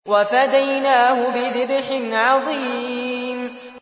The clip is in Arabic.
وَفَدَيْنَاهُ بِذِبْحٍ عَظِيمٍ